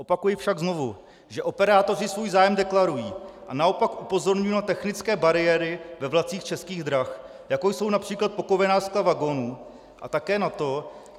Opakuji však znovu, že operátoři svůj zájem deklarují, a naopak upozorňuji na technické bariéry ve vlacích Českých drah, jako jsou například pokovená skla vagonů a také na to -